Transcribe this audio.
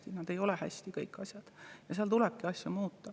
Kõik asjad ei ole hästi, seal tulebki asju muuta.